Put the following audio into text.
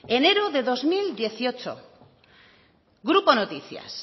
enero de dos mil dieciocho grupo noticias